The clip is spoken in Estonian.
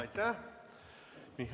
Aitäh!